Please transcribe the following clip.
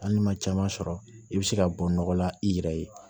Hali ni ma caman sɔrɔ i be se ka bɔ nɔgɔ la i yɛrɛ ye